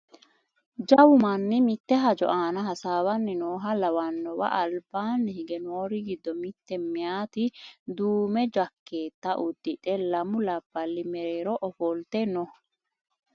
jawu manni mitte hajo aana hasaawanni nooha lawannowa albaanni hige noori giddo mitte mayeeti duume jakkeetta uddidhe lamu labballi mereero ofolte no